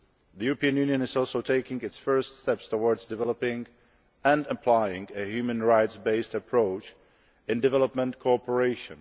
The European Union is also taking its first steps towards developing and applying a human rights based approach in development cooperation.